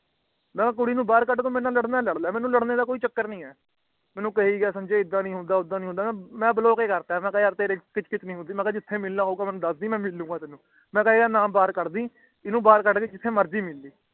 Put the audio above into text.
ਮੈਂ ਕਿਹਾ ਤੂੰ ਨਕੁੜੀ ਨੂੰ ਬਾਹਰ ਕੱਦ ਤੂੰ ਮੇਰੇ ਨਾਲ ਲੜਨਾ ਹੈ ਲੱੜ ਲੈ ਮੇਨੂ ਕਹਿ ਗਿਆ ਕਿ ਸੰਜੇ ਇਹਦਾ ਨੀ ਹੁੰਦਾ ਓਹਦਾ ਨੀ ਹੁੰਦਾ ਮੈਂ ਓਹਨੂੰ ਹੀ ਕਰਤਾ ਮਈ ਕਯਾ ਤੇਰੀ ਕਿਛੁ ਕਿਛੁ ਨੀ ਸੁਣੀਂਦੀ ਤੈਨੂੰ ਜਿਥ੍ਹੇ ਮਿਲਣਾ ਹੋਵੇ ਮਿਲ ਲਾਇ ਮੈਂ ਕਿਹਾ ਯਾਦ ਅੰਨੁ ਛੱਡ ਕੇ ਤੂੰ ਬਾਹਰ ਕਿਥ੍ਹੇ ਭੀ ਮਿਲ ਲਾਇ